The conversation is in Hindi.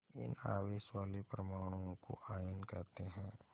इन आवेश वाले परमाणुओं को आयन कहते हैं